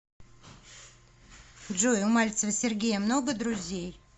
джой у мальцева сергея много друзей